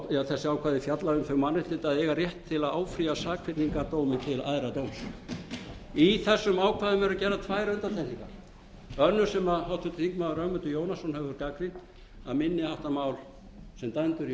eða þessi ákvæði fjalla um þau mannréttindi að eiga átt til að að áfrýja sakfellingardómi til æðra dóms í þessum ákvæðum eru gerðar tvær undantekningar önnur sem háttvirtur þingmaður ögmundur jónasson hefur gagnrýnt að minni háttar mál sem dæmd eru í